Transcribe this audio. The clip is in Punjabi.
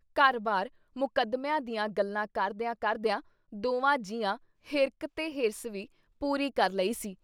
ਘਰ ਬਾਰ ਮੁਕੱਦਮਿਆਂ ਦੀਆਂ ਗੱਲਾਂ ਕਰਦਿਆਂ-ਕਰਦਿਆਂ ਦੋਵਾਂ ਜੀਆਂ ਹਿਰਖ ਤੇ ਹਿਰਸ ਵੀ ਪੂਰੀ ਕਰ ਲਈ ਸੀ।